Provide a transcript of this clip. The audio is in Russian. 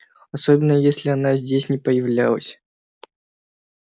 особенно если она здесь не появлялась